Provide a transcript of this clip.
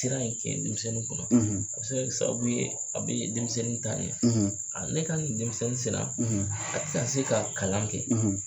sera ka nin kɛ denmisɛnnin kunna a bɛ se kɛ sababu ye a bɛ denmisɛnnin taa ɲɛ a ne ka denmisɛnnin sina a ka se ka kalan kɛ.